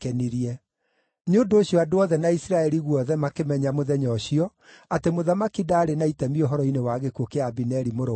Nĩ ũndũ ũcio andũ othe na Isiraeli guothe makĩmenya mũthenya ũcio atĩ mũthamaki ndaarĩ na itemi ũhoro-inĩ wa gĩkuũ kĩa Abineri mũrũ wa Neri.